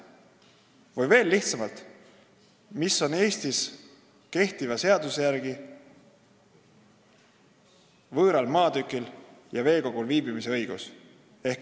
Või veel lihtsamalt: milline on Eestis kehtiva seaduse järgi võõral maatükil ja veekogul viibimise õigus?